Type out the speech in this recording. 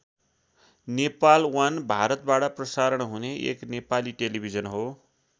Nepal one भारतबाट प्रसारण हुने एक नेपाली टेलिभिजन हो।